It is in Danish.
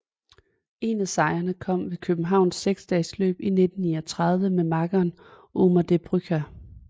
En af sejrene kom ved Københavns seksdagesløb 1939 med makkeren Omer De Bruycker